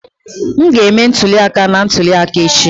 M ga-eme ntuli aka na ntuli aka echi